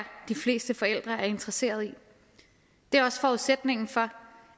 de fleste forældre er interesserede i det er også forudsætningen for